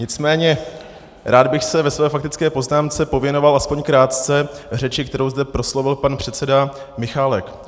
Nicméně rád bych se ve své faktické poznámce věnoval aspoň krátce řeči, kterou zde proslovil pan předseda Michálek.